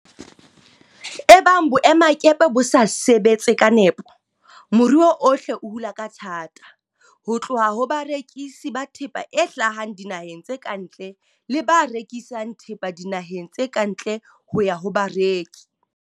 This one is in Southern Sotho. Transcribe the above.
Ebang boemakepe bo sa sebe tse ka nepo, moruo ohle o hula ka thata, ho tloha ho barekisi ba thepa e hlahang dinaheng tse ka ntle le ba rekisang thepa dinaheng tse ka ntle ho ya ho bareki.